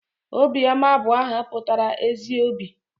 Obiọma bụ aha pụtara 'ezi obi'